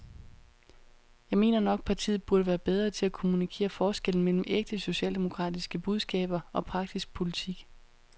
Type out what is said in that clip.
Jeg mener nok, partiet burde være bedre til at kommunikere forskellen mellem ægte socialdemokratiske budskaber og praktisk politik.